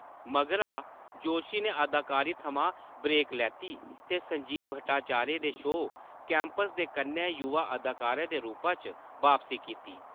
मगरा, जोशी ने अदाकारी थमां ब्रेक लैती ते संजीव भट्टाचार्य दे शो कैंपस दे कन्नै युवा अदाकार दे रूपा च बापसी कीती।